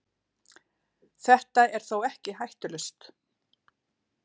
Þetta er þó ekki hættulaust.